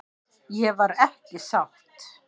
Ég var ekki sátt.